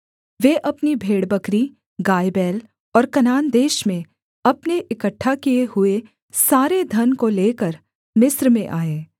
वे अपनी भेड़बकरी गायबैल और कनान देश में अपने इकट्ठा किए हुए सारे धन को लेकर मिस्र में आए